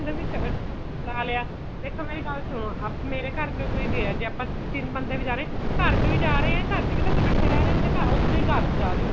B ਲਾ ਲਿਆ ਇੱਥੋ ਮੇਰੀ ਗੱਲ ਸੁਣੋ ਮੇਰੇ ਘਰ ਚੋ ਕੋਈ ਗਿਆ ਜੇ ਆਪਾਂ ਤਿੰਨ ਬੰਦੇ ਵੀ ਜਾ ਰਹੇ ਆ ਘਰ ਚੋ ਈ ਜਾ ਰਹੇ ਏ ਘਰ ਚ ਵੀ ਤਾਂ ਅਸੀਂ ਇੱਕਠੇ ਰਿਹ ਤੇ ਉਸ ਚੋ ਈ ਘਰ ਚ ਜਾ ਰਹੇ ਆ ਅਸੀਂ